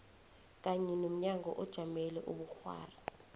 kanye nomnyango ojamele ubukghwari